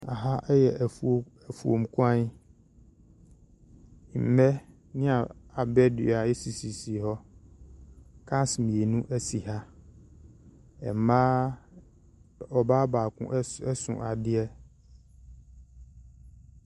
Aha ɛyɛ ɛfuom kwan nbɛ ne abɛ dua esisi hɔ kakra kars mmeinu esi ha ɛmbaa ɔbaa baako ɛso adeɛ.